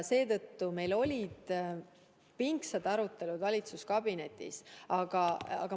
Seetõttu meil on valitsuskabinetis pingsad arutelud.